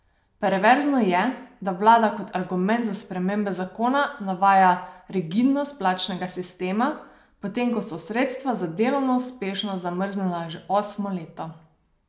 Perverzno je, da vlada kot argument za spremembe zakona navaja rigidnost plačnega sistema, potem ko so sredstva za delovno uspešnost zamrznjena že osmo leto.